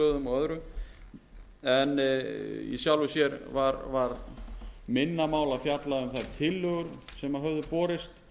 og öðru en í sjálfu sér var minna mál að fjalla um þær tillögur sem höfðu borist frá áhugasamtökum eða sveitarfélögum eða öðrum eins